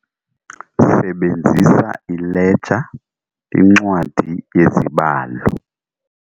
Sebenzisa ileja, incwadi yezibalo.